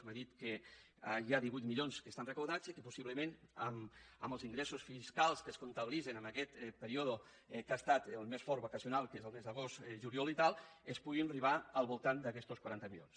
m’ha dit que hi ha divuit milions que estan recaptats i que possiblement amb els ingressos fiscals que es comptabilitzen en aquest període que ha estat el més fort vacacional que són els mesos d’agost juliol i tal es pugui arribar al voltant d’aquestos quaranta milions